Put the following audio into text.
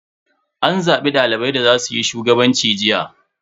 An zabi dalibai da za suyi shugabanci jiya.